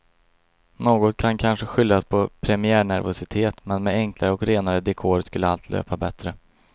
Något kan kanske skyllas på premiärnervositet men med enklare och renare dekor skulle allt löpa bättre.